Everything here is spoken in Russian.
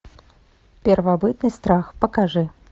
первобытный страх покажи